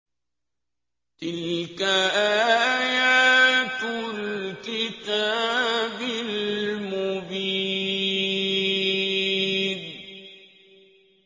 تِلْكَ آيَاتُ الْكِتَابِ الْمُبِينِ